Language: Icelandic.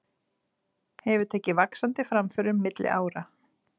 Hefur tekið vaxandi framförum milli ára.